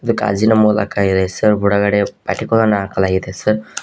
ಇದು ಗಾಜಿನ ಮೂಲಕ ಇದೆ ಸರ್ ಒಳಗಡೆ ಪಟಿಕಗಳನ್ನು ಹಾಕಲಾಗಿದೆ ಸರ್ .